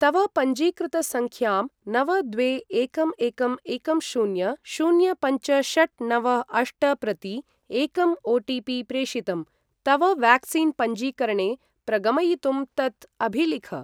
तव पञ्जीकृतसङ्ख्यां नव द्वे एकं एकं एकं शून्य शून्य पञ्च षट् नव अष्ट प्रति एकम् ओ.टि.पि. प्रेषितं, तव व्याक्सिन् पञ्जीकरणे प्रगमयितुं तत् अभिलिख।